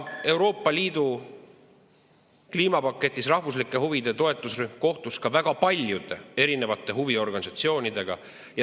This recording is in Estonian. Euroopa Liidu kliimapaketis Eesti rahvuslike huvide kaitse toetusrühm kohtus ka väga paljude erinevate huviorganisatsioonidega.